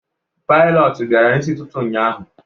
pilotu bịara n'isi ụtụtụ ụnyaahụ